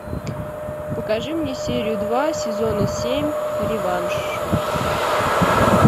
покажи мне серию два сезона семь реванш